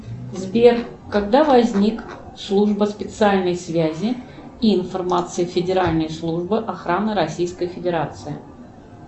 сбер когда возник служба специальной связи и информации федеральной службы охраны российской федерации